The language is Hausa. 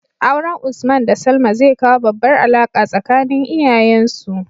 Auren usman da salma zai kawo babbar alaka tsakanin iyayen su